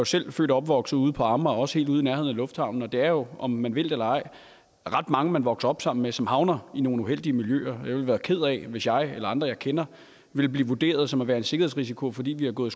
selv født og opvokset ude på amager også helt ude i nærheden af lufthavnen og der er jo om man vil det eller ej ret mange som man vokser op sammen med som havner i nogle uheldige miljøer jeg ville være ked af hvis jeg eller andre jeg kender ville blive vurderet som en sikkerhedsrisiko fordi vi har gået